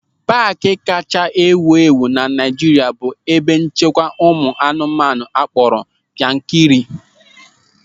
Paaki kachasị ewu ewu na Naịjirịa bụ ebe nchekwa anụmanụ akpọrọ Yankari.